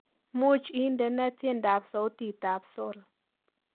Muuch indene tyendab sautitabsol